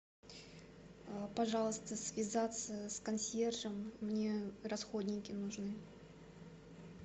пожалуйста связаться с консьержем мне расходники нужны